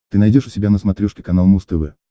ты найдешь у себя на смотрешке канал муз тв